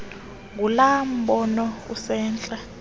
ngulaa mbono usentla